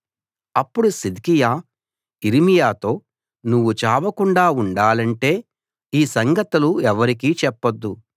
అప్పుడు సిద్కియా యిర్మీయాతో నువ్వు చావకుండా ఉండాలంటే ఈ సంగతులు ఎవరికీ చెప్పొద్దు